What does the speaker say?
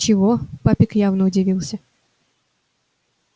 чего папик явно удивился